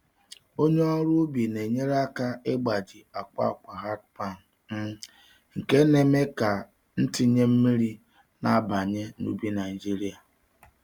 Onye ọrụ ubi na-enyere aka n'ịgbaji akwa akwa hardpan, um nke na-eme ka ntinye mmiri na-abanye n'ubi Naijiria.